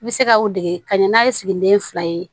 I bɛ se ka o dege ka ɲɛ n'a ye siginiden fila ye